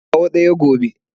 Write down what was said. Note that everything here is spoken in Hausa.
Kawo kaya gobe.